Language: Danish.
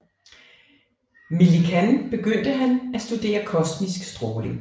Millikan begyndte han at studere kosmisk stråling